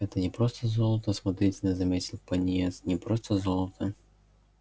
это не просто золото осмотрительно заметил пониетс не просто золото